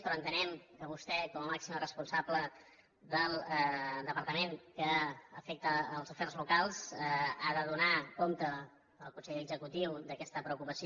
però entenem que vostè com a màxima responsable del departament que afecta els afers locals ha de donar compte al consell executiu d’aquesta preocupació